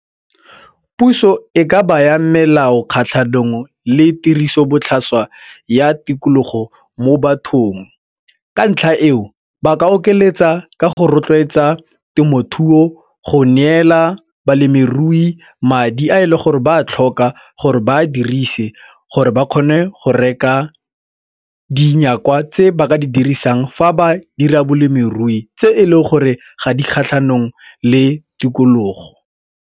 Puso e ka baya melao kgatlhanong le tirisobotlhaswa ya tikologo mo bathong. Ka ntlha eo ba ka okeletsa ka go rotloetsa temothuo go neela balemirui madi a e le gore ba a tlhoka gore ba a dirise gore ba kgone go reka dinyakwa kwa tse ba ka di dirisang fa ba dira balemirui tse e leng gore ga di kgatlhanong le tikologo.